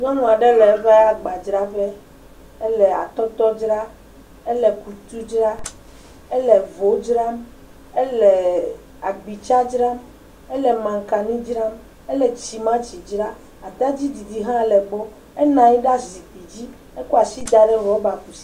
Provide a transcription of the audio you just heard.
Nyɔnuaɖe le eƒe agba dzraƒe, ele atɔtɔ dzra, ele akutu dzra, ele vo dzram, ele agbitsa dzram, ele mankani dzram, ele tsima tsi dzra, atadi ɖiɖi hã le gbɔ enɔanyi ɖe azikpuidzi ekɔ asi daɖe rɔba kusi.